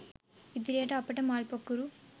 ඉදිරියට අපට මල් පොකුරු